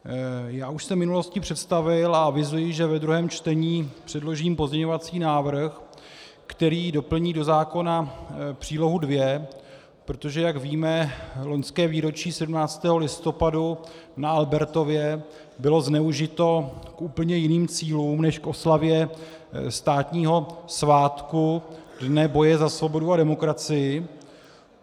Já už jsem v minulosti představil a avizuji, že ve druhém čtení předložím pozměňovací návrh, který doplní do zákona přílohu 2, protože jak víme, loňské výročí 17. listopadu na Albertově bylo zneužito k úplně jiným cílům než k oslavě státního svátku Dne boje za svobodu a demokracii.